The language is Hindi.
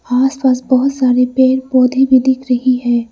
आस पास बहोत सारे पेर पौधे भी दिख रही है।